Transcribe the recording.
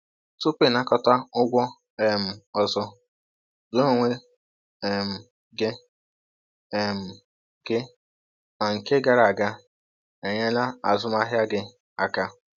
Tupu ịnakọta ụgwọ um ọzọ, jụọ onwe um gị um gị ma nke gara aga enyela azụmahịa gị aka.